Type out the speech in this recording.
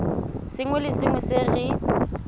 sengwe le sengwe se re